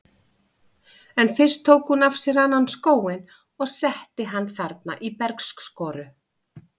En fyrst tók hún af sér annan skóinn og setti hann þarna í bergskoru.